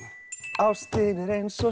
ástin er eins og